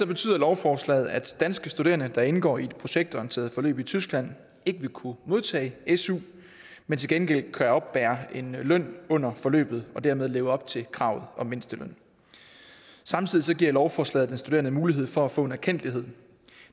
betyder lovforslaget at danske studerende der indgår i et projektorienteret forløb i tyskland ikke vil kunne modtage su men til gengæld kan oppebære en løn under forløbet og dermed leve op til kravet om mindsteløn samtidig giver lovforslaget den studerende mulighed for at få en erkendtlighed